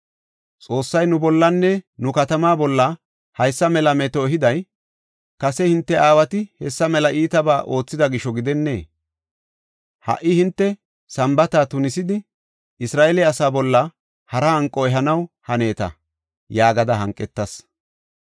Xoossay nu bollanne nu katamaa bolla haysa mela meto ehiday, kase hinte aawati hessa mela iitabaa oothida gisho gidennee? Ha77i hinte Sambaata tunisidi, Isra7eele asaa bolla hara hanqo ehanaw haneeta” yaagada hanqetas.